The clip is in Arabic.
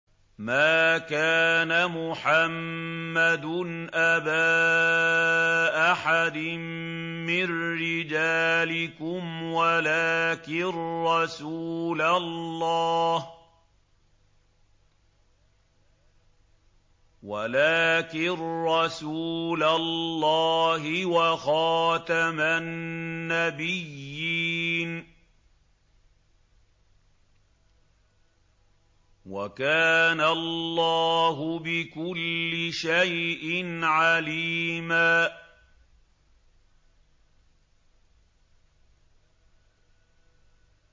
مَّا كَانَ مُحَمَّدٌ أَبَا أَحَدٍ مِّن رِّجَالِكُمْ وَلَٰكِن رَّسُولَ اللَّهِ وَخَاتَمَ النَّبِيِّينَ ۗ وَكَانَ اللَّهُ بِكُلِّ شَيْءٍ عَلِيمًا